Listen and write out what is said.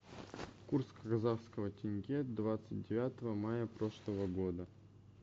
курс казахского тенге двадцать девятого мая прошлого года